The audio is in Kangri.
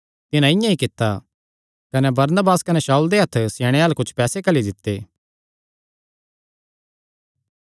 तिन्हां इआं ई कित्ता कने बरनबास कने शाऊल दे हत्थ स्याणेयां अल्ल कुच्छ पैसे घल्ली दित्ते